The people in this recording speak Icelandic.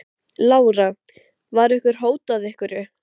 Heimsækja hann í vinnuna, þessir risavöxnu trukkar og malbikunarvélar.